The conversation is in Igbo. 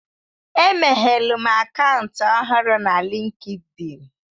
Emeghelum akaụntụ ọhụrụ na Linkidin.